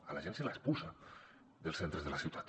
a la gent se l’expulsa dels centres de la ciutat